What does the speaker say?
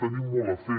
tenim molt a fer